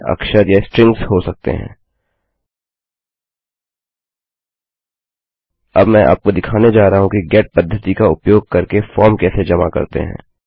अब मैं आपको दिखाने जा रहा हूँ कि गेट पद्धति का उपयोग करके फॉर्म कैसे जमा करते हैं